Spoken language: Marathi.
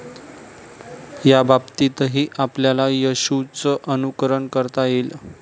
याबाबतीतही आपल्याला येशूचं अनुकरण करता येईल.